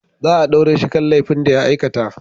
Za a daure shi kan laifin da ya aikata.